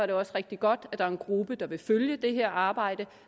det også rigtig godt at der er en gruppe der vil følge det her arbejde